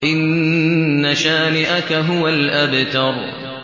إِنَّ شَانِئَكَ هُوَ الْأَبْتَرُ